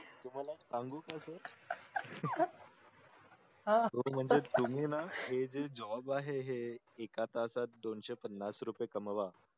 तुम्हाला सांगू का सर तुम्ही ना हे जे job आहे हे एका तासात दोनशे पन्नास रुपये कमवा